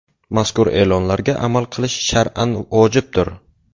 Mazkur e’lonlarga amal qilish shar’an vojibdir.